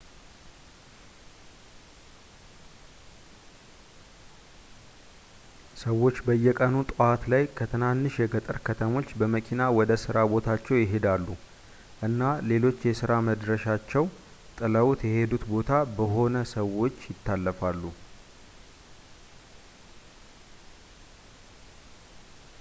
ሰዎች በየቀኑ ጠዋት ላይ ከትናንሽ የገጠር ከተሞች በመኪና ወደ ሥራ ቦታቸው ይሄዳሉ እና ሌሎች የሥራ መድረሻቸው ጥለውት የሔዱት ቦታ በሆነ ሰዎች ይታለፋሉ